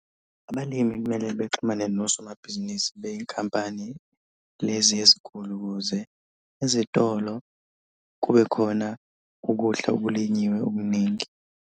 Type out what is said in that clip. Abalimi kumele bexhumane nosomabhizinisi bey'nkampani lezi ezinkulu ukuze izitolo kube khona ukudla okulinyiwe okuningi.